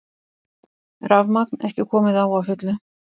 Rafmagn ekki komið á að fullu